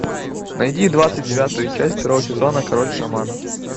найди двадцать девятую часть второго сезона король шаманов